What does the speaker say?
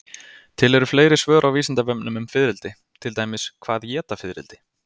Til eru fleiri svör á Vísindavefnum um fiðrildi, til dæmis: Hvað éta fiðrildi?